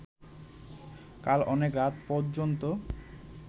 কাল অনেক রাত পর্যন্ত